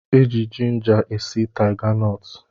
E ji jinja e si taiganọtụ